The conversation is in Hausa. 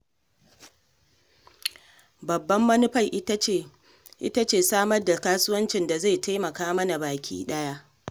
Babbar manufar ita ce samar da kasuwanci da zai taimaka mana baki ɗaya.